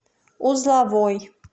узловой